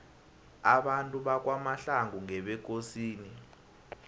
abantu bakwamahlangu ngebekosini